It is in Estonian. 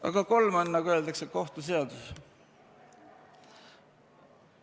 Aga kolm on, nagu öeldakse, kohtuseadus.